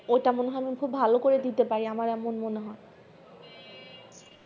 ঐটা মনে হয় খুব ভালো ভাবে দিতে পারি আমার মনে হয়